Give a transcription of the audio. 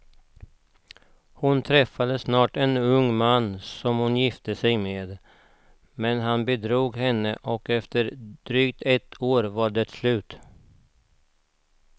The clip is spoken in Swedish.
Hon träffade snart en ung man som hon gifte sig med, men han bedrog henne och efter ett drygt år var det slut.